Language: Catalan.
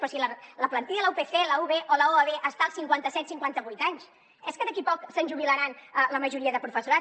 però si la plantilla de la upc la ub o la uab estan als cinquanta set cinquanta vuit anys és que d’aquí a poc se’ns jubilarà la majoria de professorat